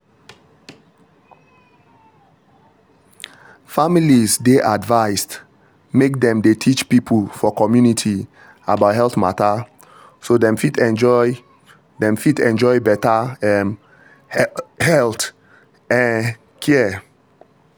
families dey advised make dem dey teach people for community about health matter so dem fit enjoy dem fit enjoy better um health um care.